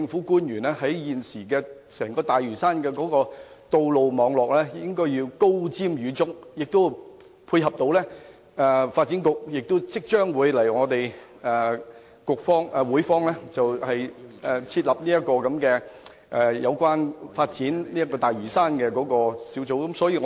對於現時整個大嶼山的道路網絡發展，政府官員應該高瞻遠矚，並且配合發展局即將在立法會設立有關發展大嶼山的小組的工作。